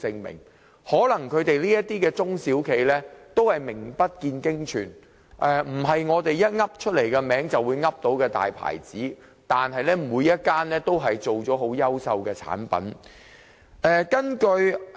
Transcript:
或許這些中小企名不見經傳，不是我們能夠隨口說出的大品牌，但每間企業都能製造出優秀產品。